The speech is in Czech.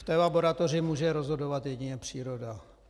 V té laboratoři může rozhodovat jedině příroda.